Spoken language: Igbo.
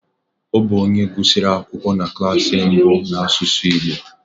Ọ bụ onye gụsịrị akwụkwọ na klas mbụ n'asụsụ Igbo